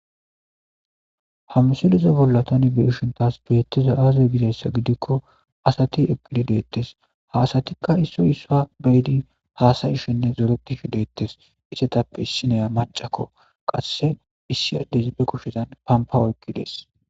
ha misileza bollatani be ishentas beettiza aazay gidayssa gidikko asati eqili deettes haasatikka issoy issa beydi haasayishenne zoretihi deettes isetappe issineya macakko qasse issi addezibe kushedan pampa oykki dees